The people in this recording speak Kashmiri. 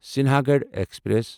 سنہَگڑ ایکسپریس